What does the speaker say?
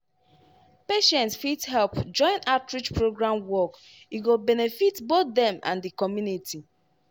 patients fit help join outreach program work e go benefit both dem and di community.